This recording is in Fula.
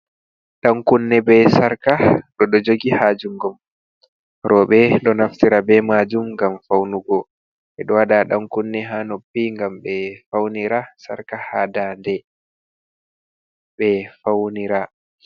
Ɗankunne be sarka oɗo jogi ha jungom roɓɓe ɗo naftira be majun gam faunugo ɓeɗo waɗa ɗankunne ha noppi gam ɓe faunira sarka ha dande ɓe faunira.